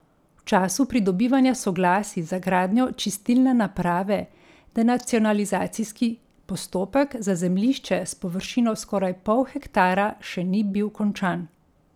V času pridobivanja soglasij za gradnjo čistilne naprave denacionalizacijski postopek za zemljišče s površino skoraj pol hektara še ni bil končan.